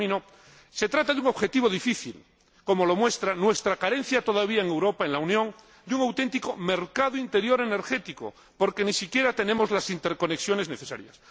Y termino, se trata de un objetivo difícil, como lo muestra nuestra carencia todavía en Europa, en la Unión, de un auténtico mercado interior energético, porque ni siquiera tenemos las interconexiones necesarias.